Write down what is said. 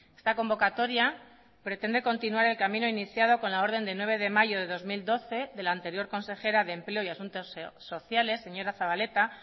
esta convocatoria pretende continuar el camino iniciado con la orden de nueve de mayo de dos mil doce de la anterior consejera de empleo y asuntos sociales señora zabaleta